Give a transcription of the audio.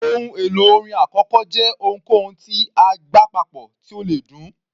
Ohun èlò orin àkọ́kọ́ jẹ́ ohunkóhun tí a gbá papọ̀ tí ó le dún.